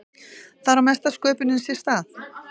Þar á mesta sköpunin sér stað.